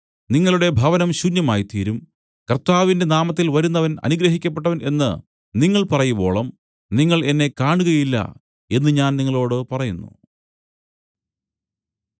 നിങ്ങളുടെ ഭവനം ശൂന്യമായ്തീരും കർത്താവിന്റെ നാമത്തിൽ വരുന്നവൻ അനുഗ്രഹിക്കപ്പെട്ടവൻ എന്നു നിങ്ങൾ പറയുവോളം നിങ്ങൾ എന്നെ കാണുകയില്ല എന്നു ഞാൻ നിങ്ങളോടു പറയുന്നു